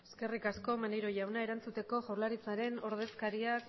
eskerrik asko maneiro jauna erantzuteko jaurlaritzaren ordezkariak